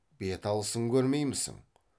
бет алысын көрмеймісің